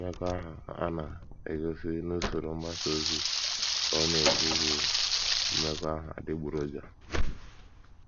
Mmekọahụ a na - egosi n’usoro mgbasa ozi, ” ka ọ na - ekwu, “ bụ mmekọahụ adịgboroja...